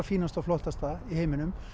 fínasta og flottasta í heiminum